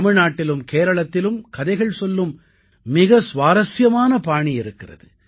தமிழ்நாட்டிலும் கேரளத்திலும் கதைகள் சொல்லும் மிக சுவாரசியமான பாணி இருக்கிறது